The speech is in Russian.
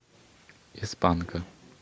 из панка